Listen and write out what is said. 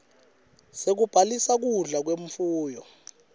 sekubhalisa kudla kwemfuyo